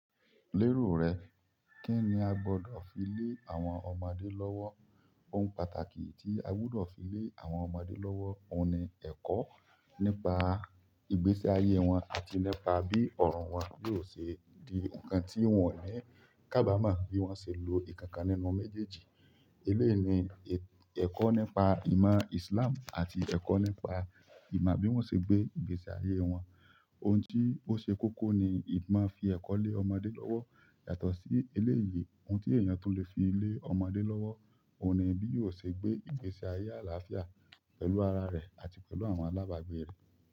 Lérò rẹ, kí ni a gbọ́dọ̀ fi lé àwọn ọmọdé lọ́wọ́? Ohun pàtàkì tí a gbúdọ̀ fi lé àwọn ọmọdé lọ́wọ́, òun ni ẹ̀kọ́ nípa ìgbésí ayé wọn àti nípa bí ọ̀run wọn yóò ṣe di ǹkan tí wọ́n ní. Kábá mọ bí wọ́n ṣe lo ìkankan nínú méjèèjì. Eléè ni ẹ̀kọ́ nípa ìmọ̀ Islam àti ẹ̀kọ́ nípa ìmọ̀ bí wọ́n ṣe gbé ìgbésí ayé wọn. Ohun tí ó ṣe kókó ni ìmọ̀ fi ẹ̀kọ́ lé ọmọdé lọ́wọ́. Yàtọ̀ sí eléèyì, ohun tí èèyàn tún lè fi lé ọmọdé lọ́wọ́, òun ni bí yóò ṣe gbé ìgbésí ayé àlàáfíà pẹ̀lú ara rẹ̀ àti pẹ̀lú àwọn alábàgbé rẹ̀.